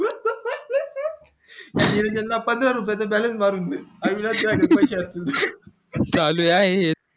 नियोजन ला पंधरा रुपये च balance मारून दे अविनाश च्या पैशानी चालू आहेत